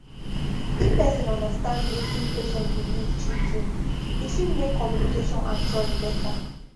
if person understand wetin patient believe truetrue e fit make communication and trust better